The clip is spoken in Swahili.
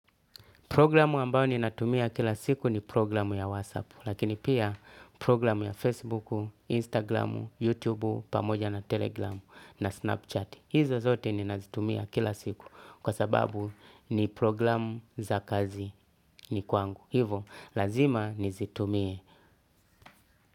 Progiramu ambao ninatumia kila siku ni progiramu ya WhatsApp, lakini pia progiramu ya Facebook, Instagram, YouTube, pamoja na Telegram na Snapchat. Hizo zote ninazitumia kila siku kwa sababu ni progiramu za kazini kwangu. Hivo, lazima nizitumie.